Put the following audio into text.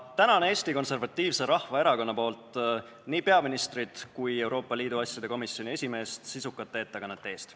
Ma tänan Eesti Konservatiivse Rahvaerakonna nimel nii peaministrit kui ka Euroopa Liidu asjade komisjoni esimeest sisuka ettekande eest!